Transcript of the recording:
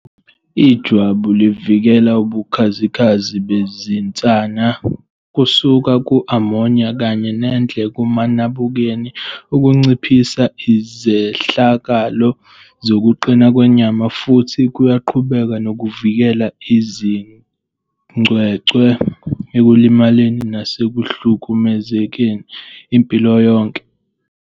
Ijwabu livikela ubukhazikhazi bezinsana kusuka ku-ammonia kanye nendle kumanabukeni, okunciphisa izehlakalo zokuqina kwenyama, futhi kuyaqhubeka nokuvikela izingcwecwe ekulimaleni nasekuhlukumezekeni impilo yonke.